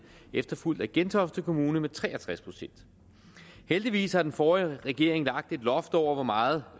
efterfulgt af gentofte kommune med tre og tres procent heldigvis har den forrige regering lagt et loft over hvor meget